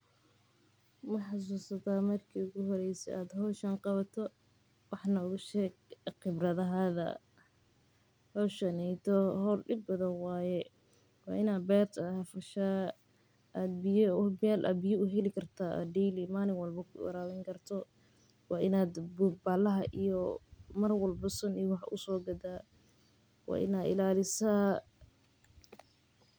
Ma xasuusata marki ugu horreysayee aad howdhaan qabato, wax nooga sheg khibradaada, howshaaneytow wa xool dib badan waye, wa inad berta ad fashaa, ad biya uxeeli karta daily, malin walbo warawinikarto, wa inad baxalaxa iyo mar walba suun usoqada, wa inad ilalisaa.